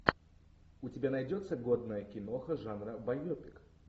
у тебя найдется годная киноха жанра байопик